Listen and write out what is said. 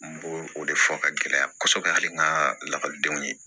N b'o o de fɔ ka gɛlɛya kosɛbɛ hali n ka lakɔlidenw ye